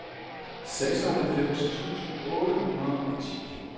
seksoghalvfems tusind otte hundrede og ti